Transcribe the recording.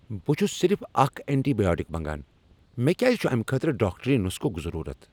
بہٕ چھُس صرف اکھ اینٹی بایوٹک منٛگان! مےٚ کیٛاز چھُ امہ خٲطرٕ ڈاکٹری نسخک ضرورت ۔